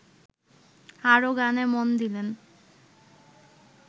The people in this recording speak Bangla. আরও গানে মন দিলেন